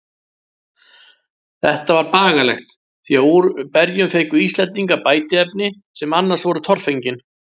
Þetta var bagalegt, því að úr berjum fengu Íslendingar bætiefni, sem annars voru torfengin.